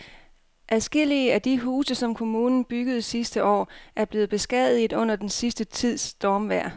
Adskillige af de huse, som kommunen byggede sidste år, er blevet beskadiget under den sidste tids stormvejr.